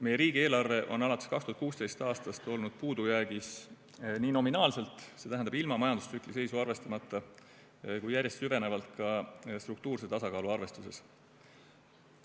Meie riigieelarve on alates 2016. aastast olnud puudujäägis nii nominaalselt, st ilma majandustsükli seisu arvestamata, kui järjest süvenevalt ka struktuurse tasakaalu arvestuses.